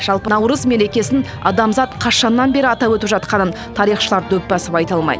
жалпы наурыз мерекесін адамзат қашаннан бері атап өтіп жатқанын тарихшылар дөп басып айта алмайды